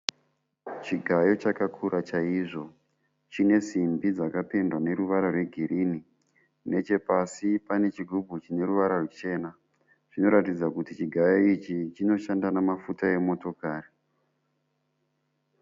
Chigayo chakakura chaiyo. Chine simbi dzakapendwa neruvara rwegirinhi. Nechepasi pane chigubhu chine ruvara ruchena. Zvinoratidza kuri chigayo ichi chinoshanda nemafuta emotokari.